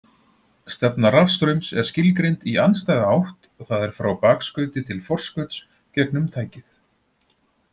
Stefna rafstraums er skilgreind í andstæða átt, það er frá bakskauti til forskauts gegnum tækið.